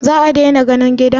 Zaa dani ganin gidan?